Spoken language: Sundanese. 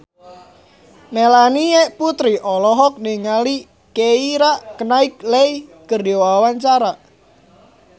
Melanie Putri olohok ningali Keira Knightley keur diwawancara